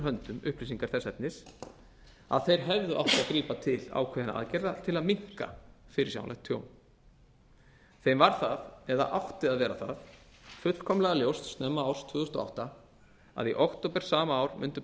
höndum upplýsingar þess efnis að þeir hefðu átt að grípa til ákveðinna aðgerða til að minnka fyrirsjáanlegt tjón þeim var það eða átti að vera það fullkomlega ljóst snemma árs tvö þúsund og átta að í október sama ár mundu